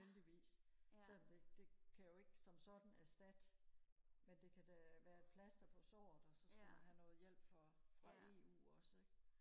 heldigvis selvom det kan jo ikke som sådan erstatte men det kan da været et plaster på såret og så skal man have noget hjælp for fra eu også ikke